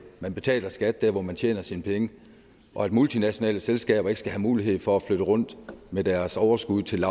man betaler skat der hvor man tjener sine penge og at multinationale selskaber ikke skal have mulighed for at flytte rundt med deres overskud til